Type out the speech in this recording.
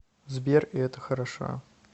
сбер и это хорошо